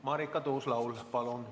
Marika Tuus-Laul, palun!